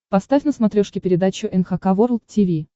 поставь на смотрешке передачу эн эйч кей волд ти ви